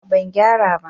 a'a ban gyara ba